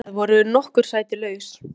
næstu ferð voru nokkur sæti laus.